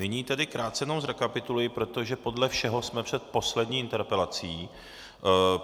Nyní tedy krátce jenom zrekapituluji, protože podle všeho jsme před poslední interpelací.